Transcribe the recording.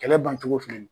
Kɛlɛ bancogo filɛ nin ye